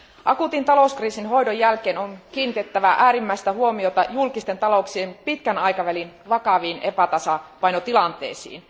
Akuutin talouskriisin hoidon jälkeen on kiinnitettävä äärimmäistä huomiota julkisten talouksien pitkän aikavälin vakaviin epätasapainotilanteisiin.